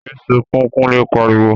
Yé sunkún! Kunle pariwo